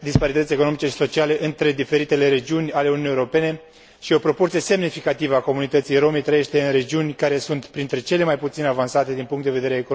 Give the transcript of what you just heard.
disparități economice și sociale între diferitele regiuni ale Uniunii Europene și o proporție semnificativă a comunității rome trăiește în regiuni care sunt printre cele mai puțin avansate din punct de vedere economic și social în Uniunea Europeană.